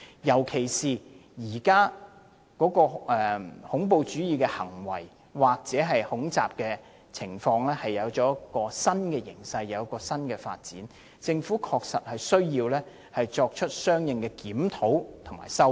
現時恐怖主義行為或恐襲情況出現了新形勢和新發展，政府確實需要作出相應行動修改法例。